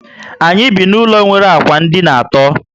Anyị bi na ụlọ nwere ụlọ ákwà dina àtó